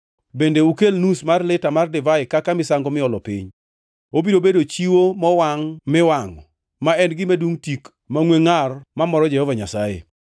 Bende ukel nus mar lita mar divai kaka misango miolo piny. Obiro bedo chiwo mowangʼ miwangʼo, ma en gima dungʼ tik mangʼwe ngʼar mamoro Jehova Nyasaye.